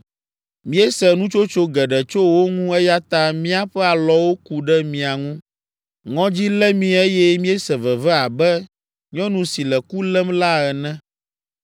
“Míese nutsotso geɖe tso wo ŋu eya ta míaƒe alɔwo ku ɖe mia ŋu. Ŋɔdzi lé mí eye míese veve abe nyɔnu si le ku lém la ene.